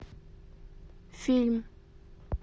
фильм